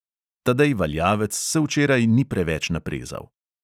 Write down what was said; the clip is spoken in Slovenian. Tadej valjavec se včeraj ni preveč naprezal.